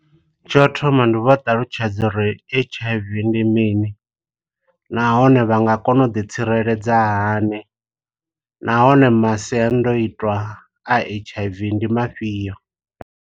Tsho u thoma ndi vha ṱalutshedza uri H_I_V ndi mini, nahone vha nga kona u ḓi tsireledza hani, nahone masiandoitwa a H_I_V ndi mafhio.